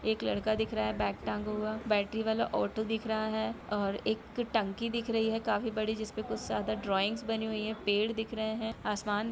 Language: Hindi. एक लड़का दिख रहा है बैग टांगा हुआ बैटरी वाला ऑटो दिख रहा है ओर एक टंकी दिख रही है काफी बड़ी जिस पर कुछ ज्यादा ड्राविंग्स बनी हुई है पेड़ दिख रहे हैं आसमान--